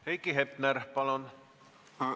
Heiki Hepner, palun!